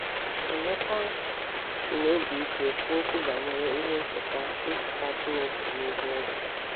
Emeka sị n’obi ike kwuo okwu banyere ihe ncheta ncheta Chineke n’ihu eze.